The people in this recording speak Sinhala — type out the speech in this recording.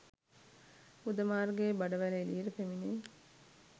ගුද මාර්ගයේ බඩවැල එළියට පැමිණේ.